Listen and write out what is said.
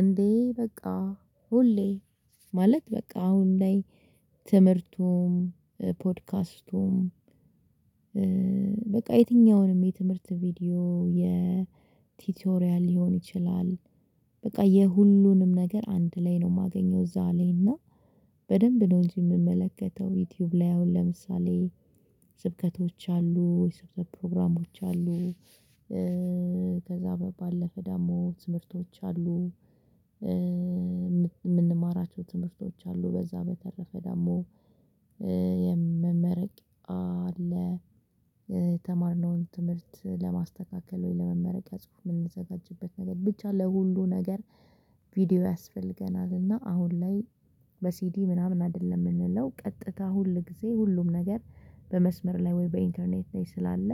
እንዴ በቃ ሁሌ ማለት በቃ አሁን ላይ ትምህርቱም ፖድካስቱም በቃ የትኛውንም የትምህርት ቪዲዮ የቲቶሪያል ሊሆን ይችላል በቃ የሁሉንም ነገር አንድ ላይ ነው የማገኘው እዛ ላይ እና በደንብ ነው እንጂ የምመለከተው ዩቲዩብ ላይ አሁን ለምሳሌ ስብከቶች አሉ፣ የሰብከት ፕሮግራሞች አሉ ከዛ ባለፈ ደግሞ ትምህርቶች አሉ የምንማራቸው ትምህርቶች አሉ በዛ በተረፈ ደግሞ የመመረቂያ አለ የተማርነውን ትምህርት ለማስተካከል ወይ ለመመረቂያ ጽሁፍ የምንዘጋጅበት ነገር ብቻ ለሁሉ ነገር ቪዲዮ ያስፈልገናል እና አሁን ላይ በሲዲ ምናምን አይደለም የምንለው ቀጥታ ሁል ጊዜ ሁሉም ነገር በመስመር ላይ ወይ በኢንተርኔት ላይ ስላለ